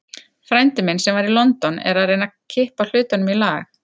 Frændi minn, sem var í London, er að reyna að kippa hlutunum í lag.